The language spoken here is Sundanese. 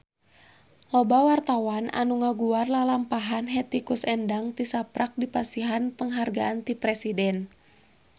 Loba wartawan anu ngaguar lalampahan Hetty Koes Endang tisaprak dipasihan panghargaan ti Presiden